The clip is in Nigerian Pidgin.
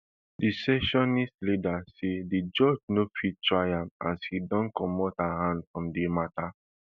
di secessionist leader say di judge no fit try am as e don comot hersef from di matter